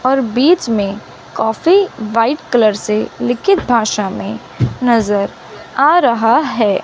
और बीच में काफी व्हाइट कलर से लिखित भाषा में नजर आ रहा है।